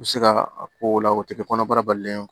U bɛ se ka a ko o la o tɛ kɛ kɔnɔbara balilen ye